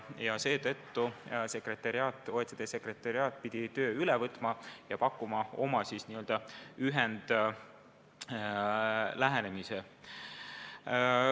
Seetõttu pidi OECD sekretariaat töö üle võtma ja pakkuma välja oma n-ö ühendlähenemise.